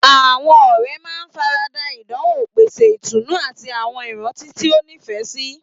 Àwọn ọ̀rẹ́ máa ń fara da ìdánwò, pèsè ìtùnú, àti àwọn ìrántí tí ó nífẹ̀ẹ́ sí.